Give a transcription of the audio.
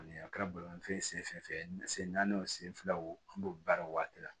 Ani a kɛra bolimanfɛn ye sen fɛn fɛn fɛ sen naani o sen fila o b'o baara o waati la